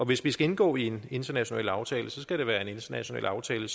hvis vi skal indgå i en international aftale skal det være en international aftale